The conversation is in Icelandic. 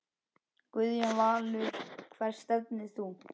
Guðjón Valur Hvert stefnir þú?